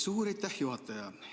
Suur aitäh, juhataja!